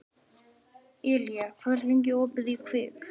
Elía, hvað er lengi opið í Kvikk?